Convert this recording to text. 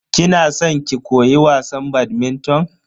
Kina san ki koyi wasan "badminton"?